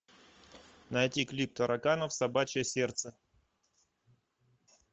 найти клип тараканов собачье сердце